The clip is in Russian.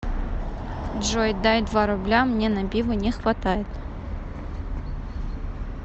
джой дай два рубля мне на пиво не хватает